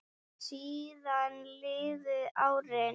Síðan liðu árin.